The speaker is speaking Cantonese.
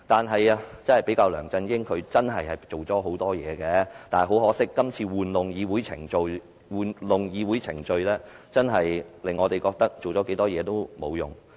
與梁振英比較，她真的做了很多事，但很可惜，她今次玩弄議會程序，令我們認為她做了多少事也沒用。